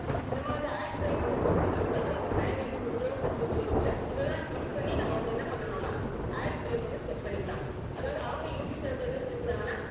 நம்ம வந்து add break வந்து set பண்றதுக்காக இந்த manage mid rows அப்படின்னு சொல்லிருக்கு இல்ல இதுதான் click பண்ணி நம்ம வந்து என்ன பண்ணனும்னா add break வந்து set பண்ணிக்கலாம் அதாவது அவங்க யூட்டியூப் தரப்பில என்ன சொல்லியிருக்காங்கன்னா